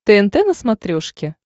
тнт на смотрешке